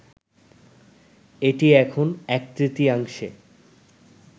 এটি এখন এক-তৃতীয়াংশে